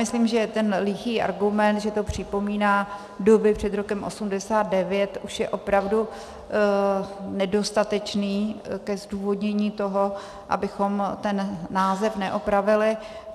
Myslím, že ten lichý argument, že to připomíná doby před rokem 1989, už je opravdu nedostatečný ke zdůvodnění toho, abychom ten název neopravili.